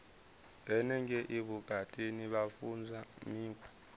henengei vhutukani vha funzwa mikhwa